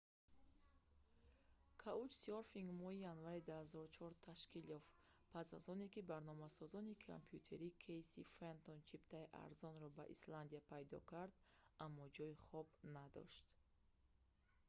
каучсёрфинг моҳи январи 2004 ташкил ёфт пас аз оне ки барномасози компютерӣ кэйси фентон чиптаи арзонро ба исландия пайдо кард аммо ҷойи хоб надошт